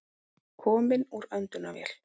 Kominn úr öndunarvél